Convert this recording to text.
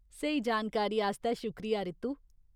स्हेई जानकारी आस्तै शुक्रिया, रितु ।